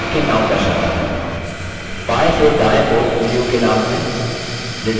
बाएँ से दायें ओर उँगलियों के named हैं: